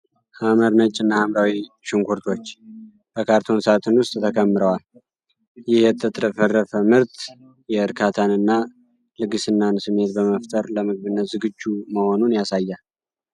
ሐመር ነጭ እና ሐምራዊ ሽንኩርቶች በካርቶን ሣጥን ውስጥ ተከምረዋል። ይህ የተትረፈረፈ ምርት የእርካታን እና ልግስናን ስሜት በመፍጠር ለምግብነት ዝግጁ መሆኑን ያሳያል።